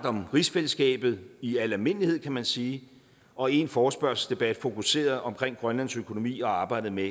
om rigsfællesskabet i al almindelighed kan man sige og en forespørgselsdebat fokuseret om grønlands økonomi og arbejdet med